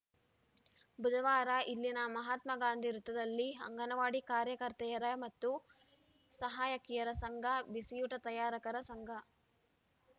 ಬುಧವಾರ ಇಲ್ಲಿನ ಮಹಾತ್ಮಗಾಂಧಿ ವೃತ್ತದಲ್ಲಿ ಅಂಗನವಾಡಿ ಕಾರ್ಯಕರ್ತೆಯರ ಮತ್ತು ಸಹಾಯಕಿಯರ ಸಂಘ ಬಿಸಿಯೂಟ ತಯಾರಕರ ಸಂಘ